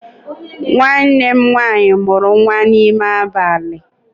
Nwanne m nwaanyị mụrụ nwa n'ime abalị